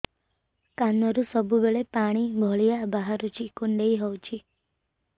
କାନରୁ ସବୁବେଳେ ପାଣି ଭଳିଆ ବାହାରୁଚି କୁଣ୍ଡେଇ ହଉଚି